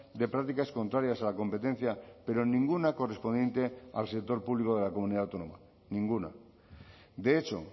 de prácticas contrarias a la competencia pero ninguna correspondiente al sector público de la comunidad autónoma ninguna de hecho